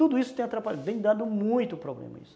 Tudo isso tem atrapalhado, tem dado muito problema